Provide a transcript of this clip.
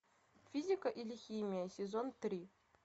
физика или химия сезон три